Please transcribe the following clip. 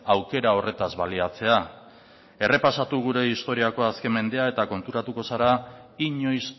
aukera horretaz baliatzea errepasatu gure historiako azken mendea eta konturatuko zara inoiz